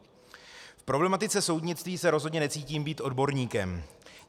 V problematice soudnictví se rozhodně necítím být odborníkem.